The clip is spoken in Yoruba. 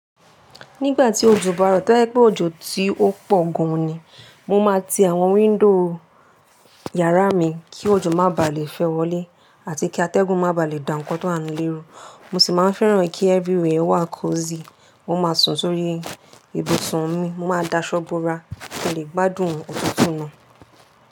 Nígbà tí òjò bá rọ̀, tó bá jẹ́ pé òjò tí ó pọ̀ gan ni, mo máa ti àwọn wíńdò yàrá mi kí òjò má bà lè fẹ́ wọlé àti kí atẹ́gùn má bà lè dàǹkọ́ tó há nu lérù. Mo sì máa ń fẹ́ràn kí everywhere wà kosi. Mo máa sùn sórí ibùsùn mi, mo máa da aṣọ́ bora kí n lè gbádùn òtútù náà.